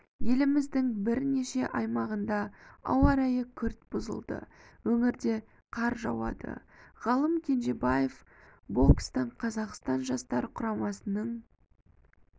еліміздің бірнеше аймағында ауа райы күрт бұзылды өңірде қар жауады ғалым кенжебаев бокстан қазақстан жастар құрамасының